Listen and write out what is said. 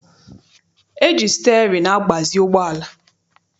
E ji sịtịarịnị agbazi ụgbọala.